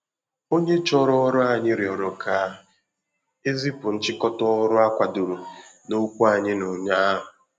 Onye chọrọ ọrụ ànyị rịọrọ ka e zipụ nchịkọta ọrụ a kwadoro n’okwu anyị n’ụnyahụ